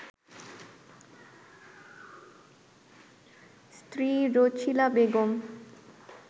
স্ত্রী রছিলা বেগম